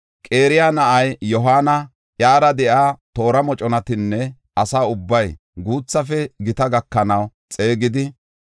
Qaraya na7aa Yohaana, iyara de7iya toora moconatanne asa ubbaa, guuthafe gita gakanaw xeegidi,